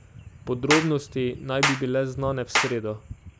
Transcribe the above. Podrobnosti naj bi bile znane v sredo.